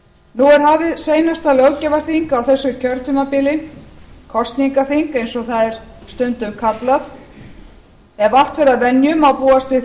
nú er hafið seinasta löggjafarþing á þessu kjörtímabili kosningaþing eins og það er stundum kallað ef allt fer að venju má búast við